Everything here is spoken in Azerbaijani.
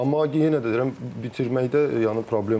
Amma yenə də deyirəm bitirməkdə yəni problem var.